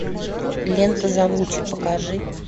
лента завучи покажи